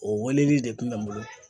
O weleli de kun bɛ n bolo